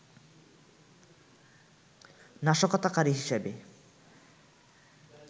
নাশকতাকারী হিসেবে